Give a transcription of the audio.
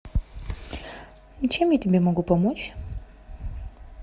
чем я тебе могу помочь